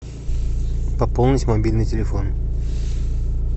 пополнить мобильный телефон